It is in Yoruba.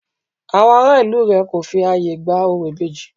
Àwọn ará ìlú rẹ̀ kò fi ààyè gba orò ìbejì